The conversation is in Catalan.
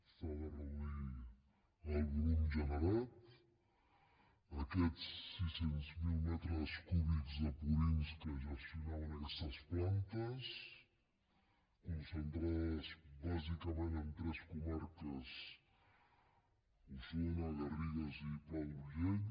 s’ha de reduir el volum generat aquests sis cents miler metres cúbics de purins que gestionaven aquestes plantes concentrades bàsicament en tres comarques osona les garrigues i el pla d’urgell